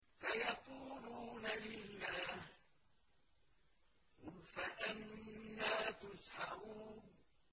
سَيَقُولُونَ لِلَّهِ ۚ قُلْ فَأَنَّىٰ تُسْحَرُونَ